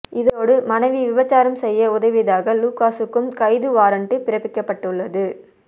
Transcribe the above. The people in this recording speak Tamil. இதோடு மனைவி விபச்சாரம் செய்ய உதவியதாக லுகாஸுக்கும் கைது வாரண்டு பிறப்பிக்கப்பட்டுள்ளது